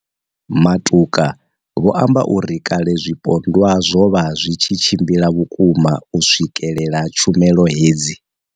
Matuka vho amba uri kale zwipondwa zwo vha zwi tshi tshimbila vhukuma u swikelela tshumelo hedzi.